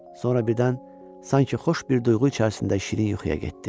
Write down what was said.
Sonra birdən sanki xoş bir duyğu içərisində şirin yuxuya getdi.